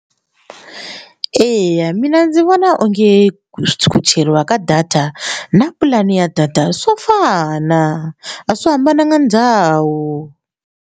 Eya mina ndzi vona onge ku cheriwa ka data na pulani ya data swo fana a swi hambananga ndhawu.